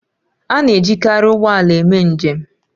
A na-ejikarị ụgbọ ala eme njem